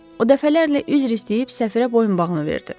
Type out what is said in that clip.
O dəfələrlə üzr istəyib səfirə boyunbağını verdi.